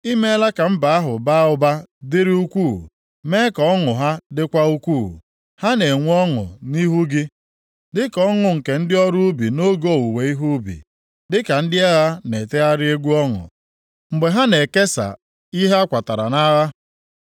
I meela ka mba ahụ baa ụba dịrị ukwuu, mee ka ọṅụ ha dịkwa ukwuu, ha na-enwe ọṅụ nʼihu gị, dịka ọṅụ nke ndị ọrụ ubi nʼoge owuwe ihe ubi, dịka ndị agha na-etegharị egwu ọṅụ mgbe ha na-ekesa ihe a kwatara nʼagha. + 9:3 Nke a bụ banyere mmeri Gidiọn meriri ndị Midia \+xt Nkp 7; 8:1-21\+xt*